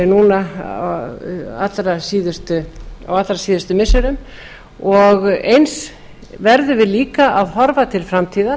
núna á allra síðustu missirum og eins verðum við líka að horfa til framtíðar